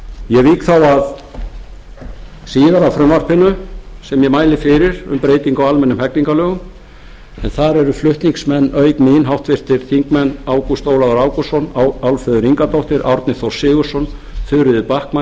ég vík þá að síðara frumvarpinu sem ég mæli fyrir um breytingu á almennum hegningarlögum en þar eru flutningsmenn auk mín háttvirtir þingmenn ágúst ólafur ágústsson álfheiður ingadóttir árni þór sigurðsson þuríður backman